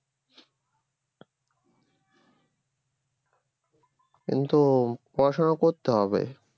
কিন্তু পড়াশোনাও করতে হবে